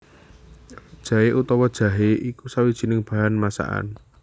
Jaé utawa jahé iku sawijining bahan masakan